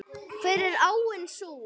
Hver er áin sú?